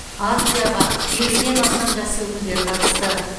акцияға елуден астам жас өкілдері қатысты